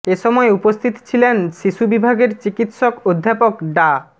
এ সময় উপস্থিত ছিলেন শিশু বিভাগের চিকিৎসক অধ্যাপক ডা